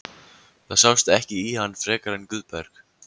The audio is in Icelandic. Það sást ekki í hann frekar en Guðberg.